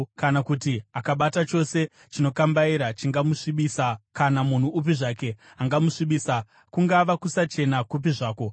kana kuti akabata chose chinokambaira chingamusvibisa kana munhu upi zvake angamusvibisa, kungava kusachena kupi zvako.